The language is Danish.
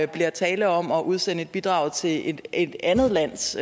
bliver tale om at udsende et bidrag til et et andet lands